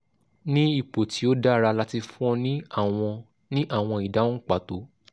ni ipo ti o dara lati fun ọ ni awọn ni awọn idahun pato